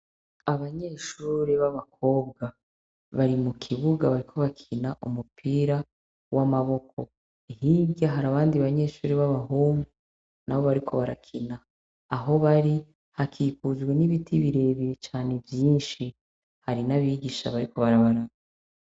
Abanyeshure nabakobwa Bari mukibuga bariko bakina umupira w'amaboko, hirya hari abandi banyeshure b'abahungu nabo ariko barakina Aho Bari hakikuje n'ibiti birebire cane vyishi, hari n'abigisha bariko barabaraba.